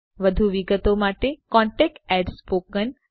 વધુ વિગતો માટે contactspoken tutorialorg પર સંપર્ક કરો